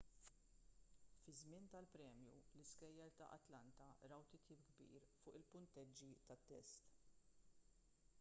fiż-żmien tal-premju l-iskejjel ta' atlanta raw titjib kbir fuq il-punteġġi tat-test